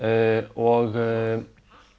og